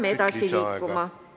... peame edasi liikuma.